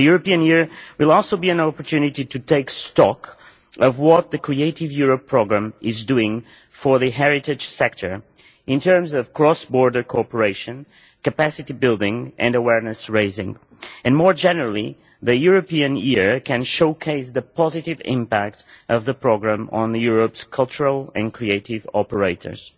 The European Year will also be an opportunity to take stock of what the Creative Europe programme is doing for the heritage sector in terms of cross border cooperation, capacity building and awareness-raising, and more generally the European Year can showcase the positive impact of the programme on Europe's cultural and creative operators.